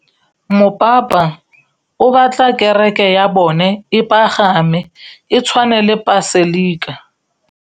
Mopapa o batla kereke ya bone e pagame, e tshwane le paselika.